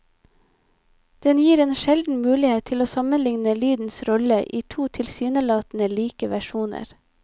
Den gir en sjelden mulighet til å sammenlikne lydens rolle i to tilsynelatende like versjoner.